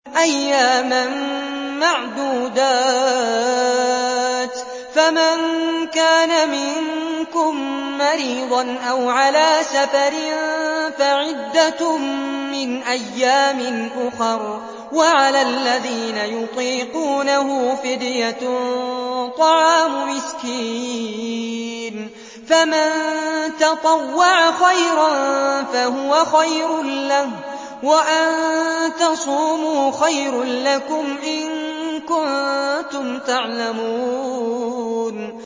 أَيَّامًا مَّعْدُودَاتٍ ۚ فَمَن كَانَ مِنكُم مَّرِيضًا أَوْ عَلَىٰ سَفَرٍ فَعِدَّةٌ مِّنْ أَيَّامٍ أُخَرَ ۚ وَعَلَى الَّذِينَ يُطِيقُونَهُ فِدْيَةٌ طَعَامُ مِسْكِينٍ ۖ فَمَن تَطَوَّعَ خَيْرًا فَهُوَ خَيْرٌ لَّهُ ۚ وَأَن تَصُومُوا خَيْرٌ لَّكُمْ ۖ إِن كُنتُمْ تَعْلَمُونَ